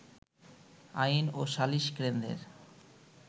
আইন ও সালিশ কেন্দ্রের